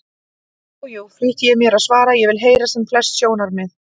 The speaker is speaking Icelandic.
Jú, jú, flýti ég mér að svara, ég vil heyra sem flest sjónarmið.